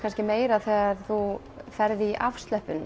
meira þegar þú ferð í